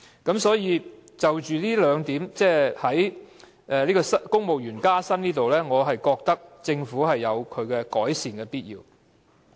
因此，就公務員薪酬這部分來說，我覺得政府是有改善的必要。